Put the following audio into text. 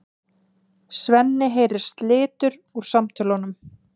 Svenni heyrir slitur úr samtölunum.